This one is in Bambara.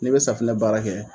Ni be safunɛ baara kɛ.